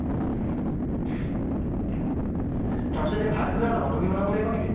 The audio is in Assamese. তাৰপিছতে ভাত কোনে বনাব ? তুমি বনাব লাগিব নেকি ?